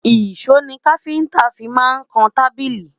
ìsọ ní kafinta fí má n kàn tábìlì